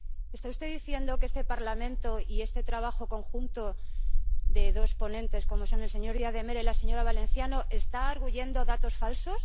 ¿Está usted diciendo que este Parlamento y este trabajo conjunto de dos ponentes, como son el señor Díaz de Mera y la señora Valenciano, están arguyendo datos falsos?